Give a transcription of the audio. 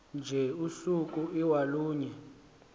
nje usuku iwalunye